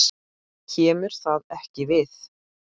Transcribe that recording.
KEMUR ÞAÐ EKKI VIÐ!